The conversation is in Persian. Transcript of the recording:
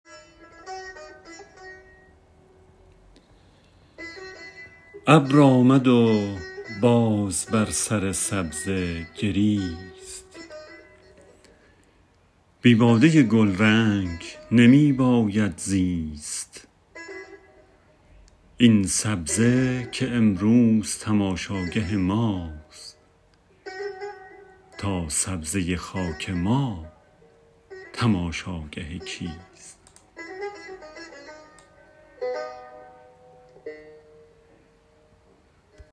ابر آمد و باز بر سر سبزه گریست بی باده گلرنگ نمی باید زیست این سبزه که امروز تماشاگه ماست تا سبزه خاک ما تماشاگه کیست